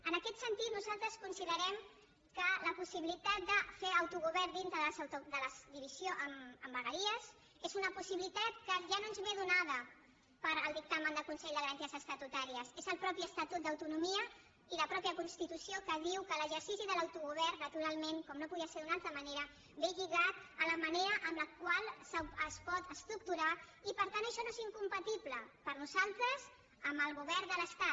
en aquest sentit nosaltres considerem que la possibilitat de fer autogovern dintre de la divisió en vegueries és una possibilitat que ja no ens és donada pel dictamen del consell de garanties estatutàries són el mateix estatut d’autonomia i la mateixa constitució que ens diuen que l’exercici de l’autogovern naturalment com no podia ser d’una altra manera és lligat a la manera amb la qual es pot estructurar i per tant això no és incompatible per nosaltres amb el govern de l’estat